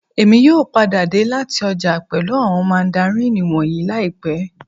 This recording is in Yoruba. Èmi yóò padà dé láti ọjà pẹ̀lú àwọn mandarini wọ̀nyìí láìpẹ́